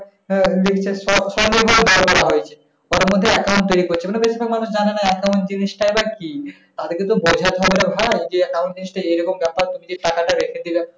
হ্যাঁ ঘরের মধ্যে account মানে বেশিরভাগ মানুষ জানে না account জিনিস টাই বা কি? তাদেরকে তো বোঝাতে হবে যে ভাই যে account জিনিশটা এরকম ব্যাপার। তুমি যে টাকা টা রেখে দিলে,